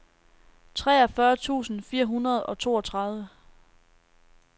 treogfyrre tusind fire hundrede og toogtredive